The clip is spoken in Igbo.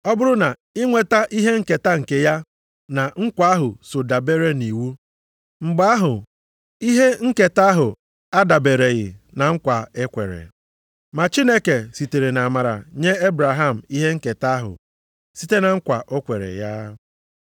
Ọ bụrụ na inweta ihe nketa nke ya na nkwa ahụ so dabeere nʼiwu, mgbe ahụ, ihe nketa ahụ adabereghị na nkwa e kwere. Ma Chineke sitere nʼamara nye Ebraham ihe nketa ahụ site na nkwa o kwere ya.